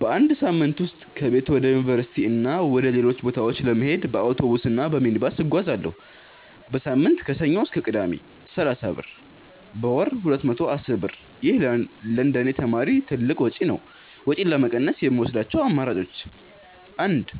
በአንድ ሳምንት ውስጥ ከቤት ወደ ዩኒቨርሲቲ እና ወደ ሌሎች ቦታዎች ለመሄድ በአውቶቡስ እና በሚኒባስ እጓዛለሁ። · በሳምንት (ከሰኞ እስከ ቅዳሜ) = 30 ብር · በወር = 210 ብር ይህ ለእንደኔ ተማሪ ትልቅ ወጪ ነው። ወጪን ለመቀነስ የምወስዳቸው አማራጮች 1.